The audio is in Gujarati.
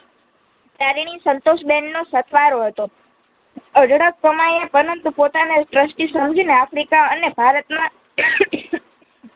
સંતોશબેનનો સથવારો હતો અઢળક કમાઈએ પનંતુ પોતાને trusty સમજીને આફ્રિકા અને ભારતમાં